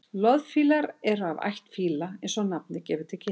loðfílar eru af ætt fíla eins og nafnið gefur til kynna